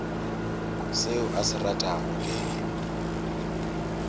seo a se ratago ke